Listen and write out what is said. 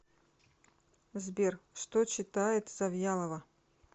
сбер что читает завьялова